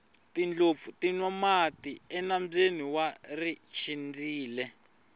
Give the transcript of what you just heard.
tindlopfu ti nwa mati enambyeni wa richindzile